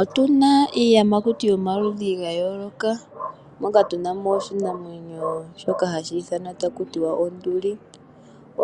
Otu na iiyamakuti yomaludhi ga yooloka, moka tu na mo oshinamwenyo shoka hashi ithanwa taku tiwa onduli.